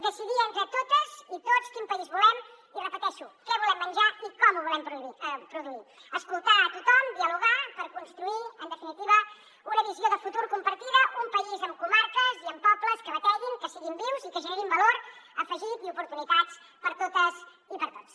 decidir entre totes i tots quin país volem i ho repeteixo què volem menjar i com ho volem produir escoltar tothom dialogar per construir en definitiva una visió de futur compartida un país amb comarques i amb pobles que bateguin que siguin vius i que generin valor afegit i oportunitats per totes i per tots